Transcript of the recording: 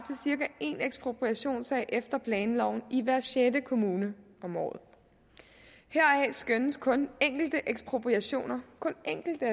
cirka en ekspropriationssag efter planloven i hver sjette kommune om året heraf skønnes at kun enkelte ekspropriationer kun enkelte